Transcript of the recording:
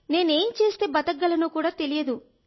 నేను ఏం చేస్తే బతకగలనో కూడా తెలియదు